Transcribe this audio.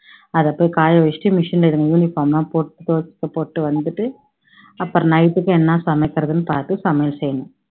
அதை போய் காய வச்சுட்டு machine ல இதுங்க uniform எல்லாம் போட்டு துவைச்சு போட்டுட்டு வந்துட்டு அப்பறம் night க்கு என்ன சமைக்குறதுன்னு பாத்து சமையல் செய்யணும்